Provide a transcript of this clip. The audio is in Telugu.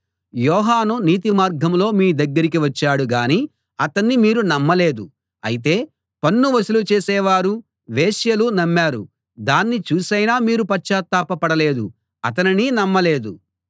యోహాను నీతి మార్గంలో మీ దగ్గరికి వచ్చాడు గానీ అతణ్ణి మీరు నమ్మలేదు అయితే పన్ను వసూలు చేసేవారు వేశ్యలు నమ్మారు దాన్ని చూసైనా మీరు పశ్చాత్తాపపడ లేదు అతనిని నమ్మలేదు